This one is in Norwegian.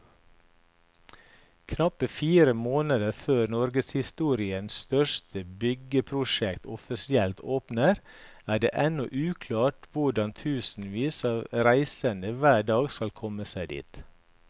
Knappe fire måneder før norgeshistoriens største byggeprosjekt offisielt åpner, er det ennå uklart hvordan tusenvis av reisende hver dag skal komme seg dit.